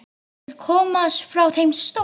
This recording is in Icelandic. Vill komast frá þeim stóra.